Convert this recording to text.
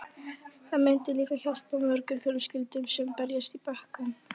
Það myndi líka hjálpa mörgum fjölskyldum sem berjast í bökkum.